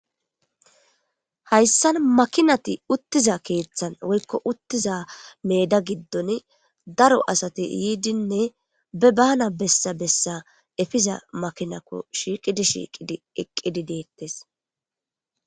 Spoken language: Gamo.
Hayssan makinati uttiza keeththan woykko uttiza meeda giddoni daro asati yiidinne be baana bessa bessa epiza makinako shiiqidi shiiqidi eqqidi de'etees.